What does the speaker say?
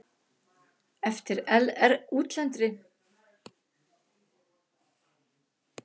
Eftir útlendri þjóð apar gikkurinn.